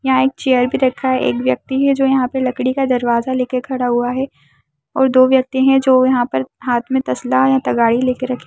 यहाँ एक चेयर भी रखा है एक व्यक्ति है जो यहाँ पे लकड़ी का दरवाज़ा लेके खड़ा हुआ है और दो व्यक्ति है जो यहाँ पर हाथ में तसला या तगाड़ी लेके रखे --